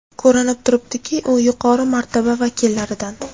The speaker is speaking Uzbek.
Ko‘rinib turibdiki, u yuqori martaba vakillaridan.